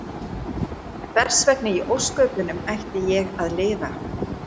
Hversvegna í ósköpunum ætti ég að lifa?